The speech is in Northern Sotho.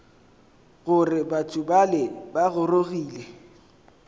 gore batho bale ba gorogile